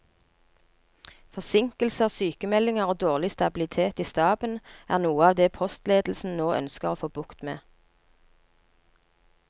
Forsinkelser, sykemeldinger og dårlig stabilitet i staben er noe av det postledelsen nå ønsker å få bukt med.